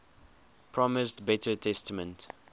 promised better treatment